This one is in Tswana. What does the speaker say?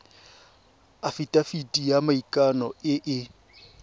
afitafiti ya maikano e e